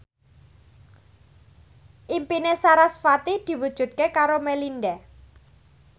impine sarasvati diwujudke karo Melinda